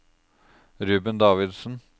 Ruben Davidsen